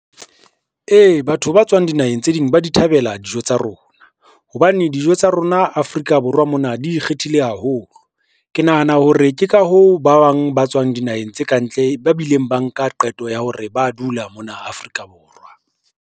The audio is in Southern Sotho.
Ee, batho ba tswang dinaheng tse ding ba di thabela dijo tsa rona, hobane dijo tsa rona Afrika Borwa mona di ikgethile haholo. Ke nahana hore ke ka hoo ba bang ba tswang dinaheng tsa kantle ba bileng ba nka qeto ya hore ba dula mona Afrika Borwa.